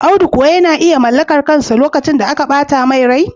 Audu kuwa yana iya mallakar kansa lokacin da aka bata mai rai?